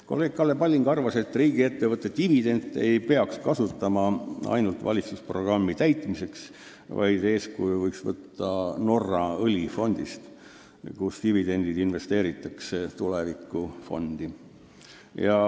Kolleeg Kalle Palling arvas, et riigiettevõtte dividende ei peaks kasutama ainult valitsusprogrammi täitmiseks, vaid võiks võtta eeskuju Norra õlifondist, kus dividendid investeeritakse tulevikufondi.